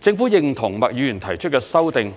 政府認同麥議員提出的修訂